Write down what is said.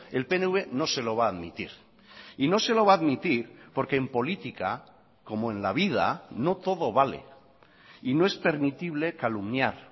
el pnv no se lo va a admitir y no se lo va a admitir porque en política como en la vida no todo vale y no es permitible calumniar